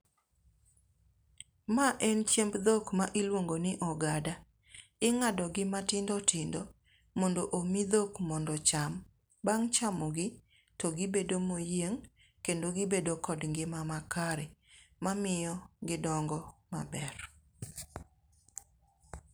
Ma en chiemb dhok ma iluongo ni ogada. Inga'do gi matindo tindo mondo omi dhok mondo ocham. Bang chamogi togibedo moyieng kendo gibedo kod ngima makare, ma miyo gidongo maber.